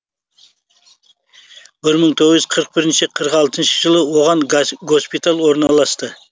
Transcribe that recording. бір мың тоғыз жүз қрық бесінші қырық алтыншы жылы оған госпиталь орналасты